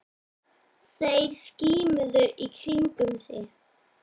Þeir skimuðu í kringum sig.